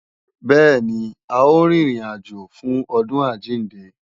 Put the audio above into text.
Bẹ́ẹ̀ni, a ó rin ìrìn àjò fún ọdún àjíǹde